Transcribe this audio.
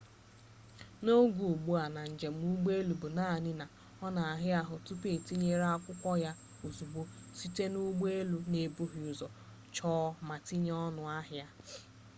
n'oge ugbu a njem ụgbọ elu bụ naanị na ọ na-ara ahụ tupu e tinye akwụkwọ ya ozugbo site na ndị ụgbọ elu na-ebughị ụzọ chọọ ma tụnyere ọnụ ahịa